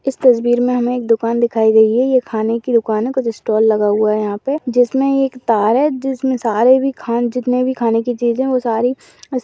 इस तस्वीर मे हमे एक दुकान दिखाई दे रही है ये खाने की दुकान है कुछ स्टॉल लगा हुआ है यहा पे जिसमे एक तार है। जिसमे सारे भी खाने जीतने भी खाने की चीजे है वे सारी उस --